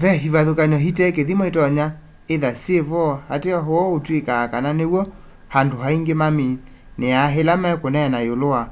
ve ivathukany'o itekithimo itonya ithwa syivo ateo uu utwikaa kana niw'o andu aingi maminiaa ila mekuneenea yiulu wa